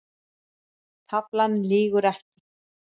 Taflan lýgur ekki